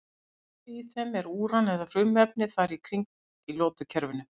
Eldsneyti í þeim er úran eða frumefni þar í kring í lotukerfinu.